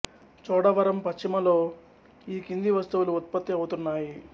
చోడవరం పశ్చిమ లో ఈ కింది వస్తువులు ఉత్పత్తి అవుతున్నాయి